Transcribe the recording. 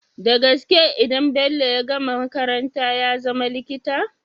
Dagaske idan bello ya gama makaranta yazama likita?